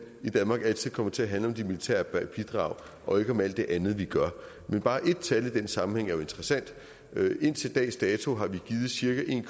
i danmark altid kommer til at handle om de militære bidrag og ikke om alt det andet vi gør men bare ét tal i den sammenhæng er jo interessant indtil dags dato har vi givet cirka en